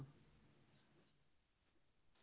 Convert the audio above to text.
sillence